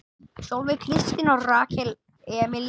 Sólveig Kristín og Rakel Amelía.